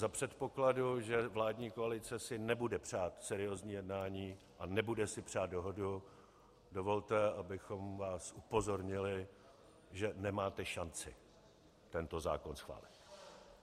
Za předpokladu, že vládní koalice si nebude přát seriózní jednání a nebude si přát dohodu, dovolte, abychom vás upozornili, že nemáte šanci tento zákon schválit.